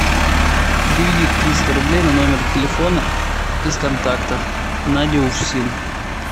переведи триста рублей на номер телефона из контактов надя уфсин